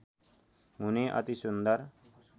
हुने अति सुन्दर